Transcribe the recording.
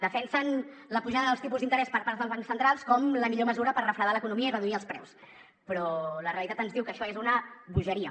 defensen la pujada dels tipus d’interès per part dels bancs centrals com la millor mesura per refredar l’economia i reduir els preus però la realitat ens diu que això és una bogeria